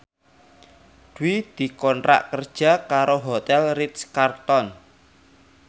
Dwi dikontrak kerja karo Hotel Ritz Carlton